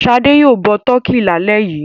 Ṣadé yóò bọ tọkí lálẹ́ yìí.